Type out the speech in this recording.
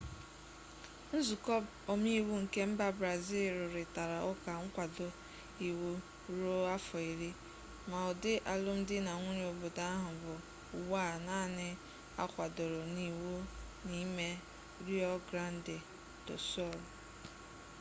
nzuko omeiwu nke mba brazịl rụrịtara ụka nkwado iwu ruo afọ iri ma ụdị alụmdi na nwunye obodo ahụ bụ ugbu a naanị a kwadoro n'iwu n'ime rio grande do sul